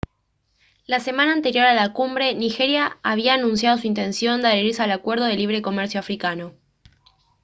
la semana anterior a la cumbre nigeria había anunciado su intención de adherirse al acuerdo de libre comercio africano